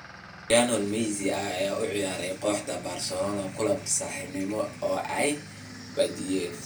Lionel Messi ayaa u ciyaaray kooxda Barcelona kulan saaxiibtinimo oo ay badiyeen